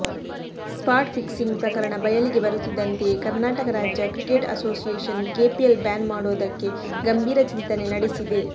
spot fixing ಪ್ರಕರಣ ಬಯಲಿಗೆ ಬರುತ್ತಿದ್ದಂತೆಯೇ ಕರ್ನಾಟಕ ರಾಜ್ಯ ಕ್ರಿಕೆಟ್ ಅಸೋಸಿಯೇಶನ್ ಕೆಪಿಎಲ್ ಬ್ಯಾನ್ ಮಾಡೋದಕ್ಕೆ ಗಂಭೀರ ಚಿಂತನೆ ನಡೆಸಿದೆ